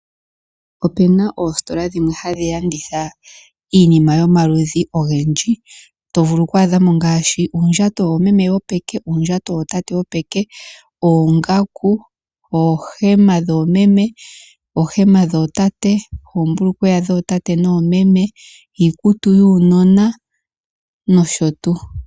Opuna oostola dhimwe hadhi landitha iinima yomaludhi ogendji, to vulu oku adhamo ngaashi uundjato woomeme wopeke, uundjato wootate wopeke, oongaku, oohema dhoomeme, oohema dhootate, oombulukweya dhootate noomeme, iikutu yuunona nosho tuu.